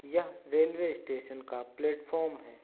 ये railway station का platform है।